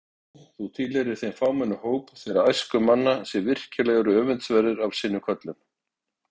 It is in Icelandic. Nei, þú tilheyrir þeim fámenna hóp þeirra æskumanna, sem virkilega eru öfundsverðir af sinni köllun.